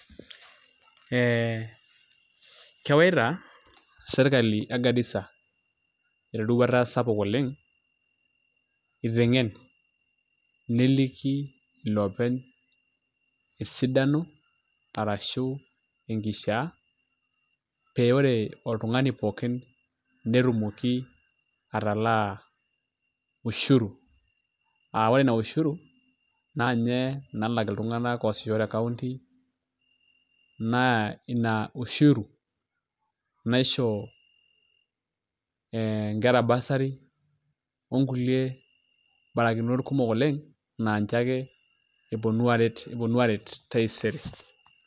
Ee kewaita sirkali e Garisa eroruata sapuk oleng' iteng'en neliki iloopeny esidano arashu enkishiaa pee ore oltung'ani pookin netumoki atalaa ushuru aa ore ina [cs[ushuru naa inye nalak ilutung'anak oosisho te County naa ina [csushuru naisho ee nkera bursary onkulie barakinot kumok oleng' naa nche ake eponu aaret taisere.